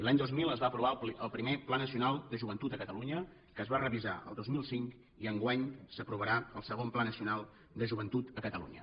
l’any dos mil es va aprovar el primer pla nacional de joventut de catalunya que es va revisar el dos mil cinc i enguany s’aprovarà el segon pla nacional de joventut de catalunya